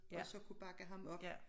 Og så kunne bakke ham op